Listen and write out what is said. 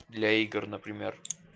для игр например